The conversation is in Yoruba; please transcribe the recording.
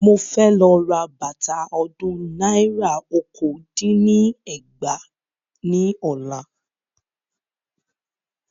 Mo fẹ́ lọ ra bàtà ọdún náírà okòó dín ní ẹgbàá ní ọ̀la.